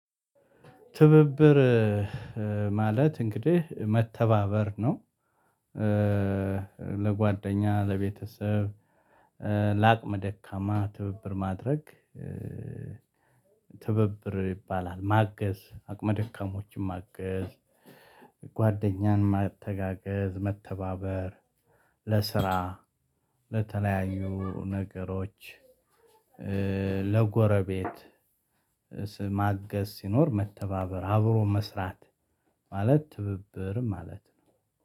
ትብብር ማለት መተባበር ነው። ለጎደኛ፣ ለቤተሰብ፣ ለኣቅመ ደካማ ትብብር ማድረግ። ትብብር ይባላል ማገዝ አቅመ ደካሞችን ማገዝ። ጓደኛንም ማተጋገዝ መተባበር ለስራ ለተለያዩ ነገርሮች። ለጎረቤት ማገዝ ሲኖር መተባበር አብሮ መስራት። ማለት ትብብር ማለት